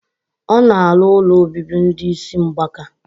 O na alu ụlọ obibi ndi isi mgbaka.